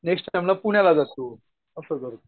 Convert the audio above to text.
Next टाईमला पुण्याला जातो. असं करतो.